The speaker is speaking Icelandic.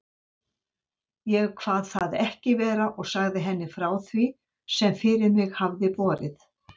Ég kvað það ekki vera og sagði henni frá því, sem fyrir mig hafði borið.